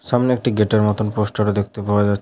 সামনে একটি গেটের মতোন পোস্টার ও দেখতে পাওয়া যাচ--